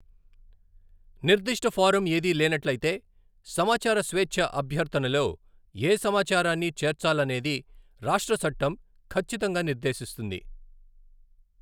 నిర్ధిష్ట ఫారం ఏదీ లేనట్లయితే, సమాచార స్వేచ్ఛ అభ్యర్థనలో ఏ సమాచారాన్ని చేర్చాలనేది రాష్ట్ర చట్టం ఖచ్చితంగా నిర్దేశిస్తుంది.